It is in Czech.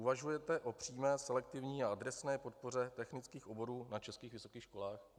Uvažujete o přímé selektivní a adresné podpoře technických oborů na českých vysokých školách?